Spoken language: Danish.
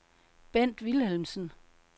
Bent Vilhelmsen